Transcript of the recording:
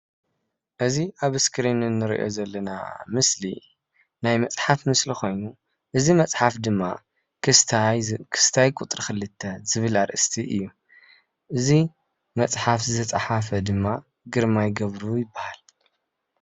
እዚ ኣብ እስክሪን እንርእዮ ዘለና ምስሊ ናይ መፅሓፍ ምስሊ ኮይኑ እዚ መፅሓፍ ድማ ክስታይ ክስታይ ቁፅሪ 2 ዝብል ኣርእስቲ እዩ። እዚ መፅሓፍ ዝፀሓፈ ድማ ግርማይ ገብሩ ይባሃል።